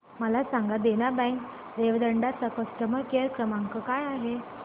मला सांगा देना बँक रेवदंडा चा कस्टमर केअर क्रमांक काय आहे